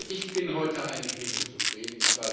Ich bin heute eigentlich nicht unzufrieden.